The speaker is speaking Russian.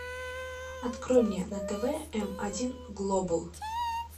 открой мне на тв м один глобал